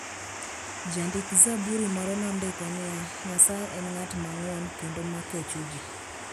Jandik - zaburi moro nondiko niya: "Nyasaye en ng'at mang'won kendo ma kecho ji.